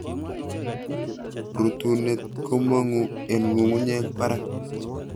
Rutuunet komongu en ngungunyeek barak